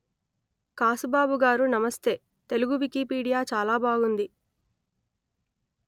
కాసుబాబు గారూ నమస్తే తెలుగు వికిపీడియా చాలా బాగుంది